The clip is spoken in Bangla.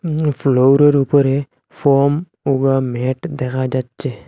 উম ফ্লোরের উপরে ফম ও বা ম্যাট দেখা যাচ্ছে।